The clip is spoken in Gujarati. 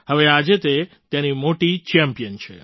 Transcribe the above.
હવે આજે તે તેની મોટી ચેમ્પિયન છે